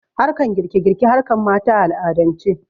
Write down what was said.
Harkan girke girke harkan mata a al'adance